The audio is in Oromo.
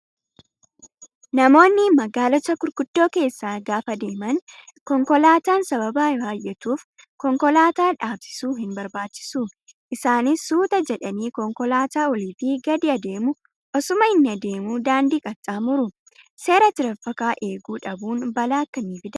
Namoonni magaalota gurguddoo keessa gaafa deeman konkolaataan sababa baay'atuuf konkolaataa dhaabsisuu hin barbaachisu. Isaanis suuta jedhanii konkolaataa olii fi gadi adeemu osuma inni adeemuu daandii qaxxaamuru. Seera tiraafikaa eeguu dhabuun balaa akkamii fidaa?